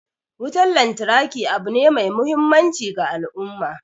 Wutan lantarki abu ne mai muhimmanci ga al'umma